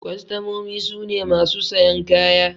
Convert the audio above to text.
Kwastamomi su ne masu sayan kaya.